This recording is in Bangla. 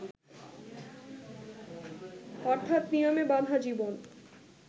অর্থাৎ নিয়মে বাঁধা জীবন